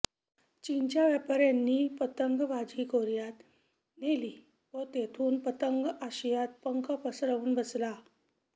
चीनच्या व्यापाऱ्यांनी पतंगबाजी कोरियात नेली व तेथून पतंग आशियात पंख पसरवून बसला